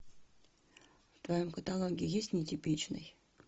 в твоем каталоге есть нетипичный